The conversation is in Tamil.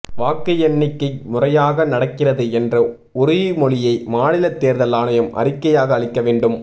வாக்கு எண்ணிக்கை முறையாக நடக்கிறது என்ற உறுதிமொழியை மாநில தேர்தல் ஆணையம் அறிக்கையாக அளிக்க வேண்டும்